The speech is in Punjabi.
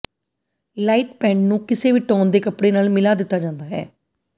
ਲਾਈਟ ਪੈੰਟ ਨੂੰ ਕਿਸੇ ਵੀ ਟੋਨ ਦੇ ਕੱਪੜੇ ਨਾਲ ਮਿਲਾ ਦਿੱਤਾ ਜਾਂਦਾ ਹੈ